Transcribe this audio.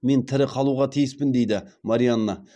мен тірі қалуға тиіспін дейді марианна